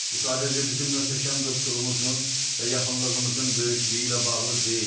Bu sadəcə bizim möhtəşəm dostluğumuzun və yaxınlığımızın böyüklüyü ilə bağlı deyil.